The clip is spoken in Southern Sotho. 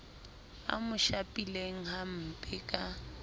a mo shapileng hamper ka